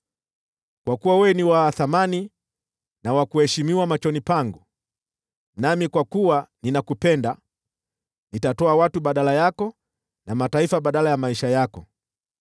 Kwa kuwa wewe ni wa thamani na wa kuheshimiwa machoni pangu, nami kwa kuwa ninakupenda, nitatoa watu badala yako na mataifa badala ya maisha yako.